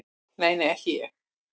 Nei, nei, ekki ég.